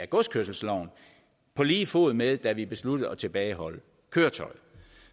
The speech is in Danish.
godskørselsloven på lige fod med det vi besluttede besluttede at tilbageholde køretøjet